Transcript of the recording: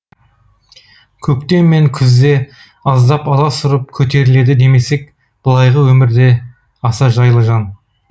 көктем мен күзде аздап аласұрып көтеріледі демесек былайғы өмірде аса жайлы жан